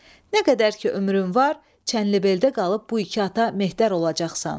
Nə qədər ki ömrün var, çənlibeldə qalıb bu iki ata Mehdir olacaqsan.